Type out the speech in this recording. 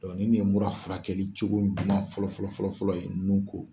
nin de ye mura furakɛli cogo ɲuman fɔlɔfɔlɔfɔlɔ ye nun ko.